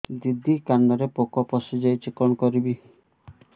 ଦିଦି କାନରେ ପୋକ ପଶିଯାଇଛି କଣ କରିଵି